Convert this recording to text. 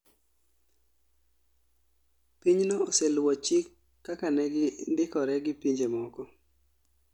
Pinyno oseluo chik kaka negindikore gi pinje moko